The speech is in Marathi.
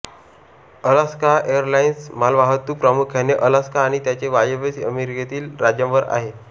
अलास्का एरलाइन्स मालवाहतूक प्रामुख्याने अलास्का आणि त्याचे वायव्य अमेरिकेतील राज्यांवर आहे